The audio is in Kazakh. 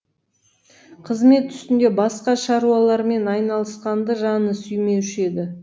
қызмет үстінде басқа шаруалармен айналысқанды жаны сүймеуші еді